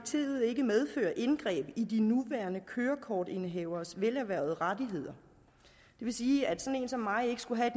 ikke medførte indgreb i de nuværende kørekortindehaveres velerhvervede rettigheder det vil sige at sådan en som mig ikke skulle have